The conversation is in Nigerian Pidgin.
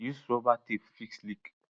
use rubber tape fix leak